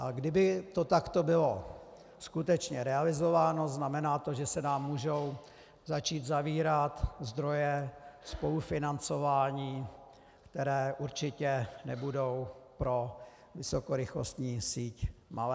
A kdyby to takto bylo skutečně realizováno, znamená to, že se nám můžou začít zavírat zdroje spolufinancování, které určitě nebudou pro vysokorychlostní síť malé.